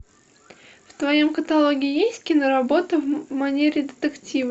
в твоем каталоге есть киноработы в манере детектива